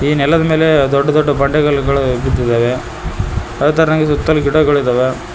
ಈ ನೆಲದ ಮೇಲೆ ದೊಡ್ಡ ದೊಡ್ಡ ಬಂಡೆ ಕಲ್ಲುಗಳು ಬಿದ್ದಿದ್ದಾವೆ ಅದೇ ತರನಾಗಿ ಸುತ್ತಲು ಗಿಡಗಳಿವೆ.